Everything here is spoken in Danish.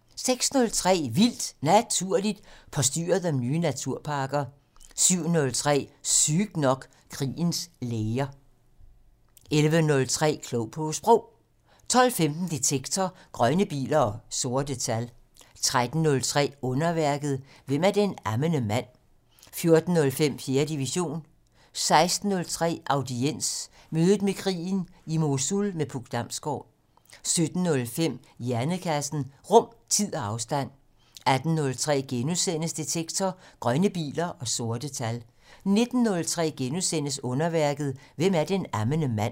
06:03: Vildt Naturligt: Postyret om nye naturparker 07:03: Sygt nok: Krigens læger 11:03: Klog på Sprog 12:15: Detektor: Grønne biler og sorte tal 13:03: Underværket: Hvem er den ammende mand? 14:05: 4. division 16:03: Audiens: Mødet med krigen - I Mosul med Puk Damsgård 17:05: Hjernekassen: Rum, tid og afstand 18:03: Detektor: Grønne biler og sorte tal * 19:03: Underværket: Hvem er den ammende mand? *